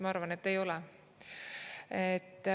Ma arvan, et ei ole.